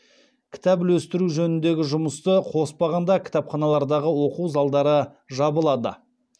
кітап үлестіру жөніндегі жұмысты қоспағанда кітапханалардағы оқу залдары жабылады